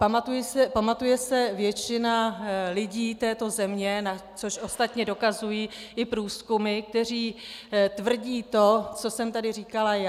Pamatuje se většina lidí této země, což ostatně dokazují i průzkumy, které tvrdí to, co jsem tady říkala já.